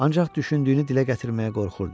Ancaq düşündüyünü dilə gətirməyə qorxurdu.